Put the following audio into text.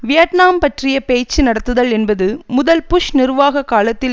Vietnam பற்றிய பேச்சு நடத்துதல் என்பது முதல் புஷ் நிர்வாக காலத்தில்